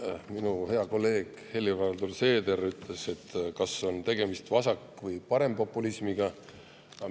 Minu hea kolleeg Helir-Valdor Seeder, kas tegemist on vasak‑ või parempopulismiga.